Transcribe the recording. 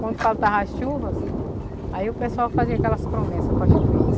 Quando faltava as chuvas, aí o pessoal fazia aquelas promessas para chover.